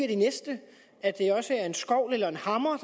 det næste at det også er en skovl eller en hammer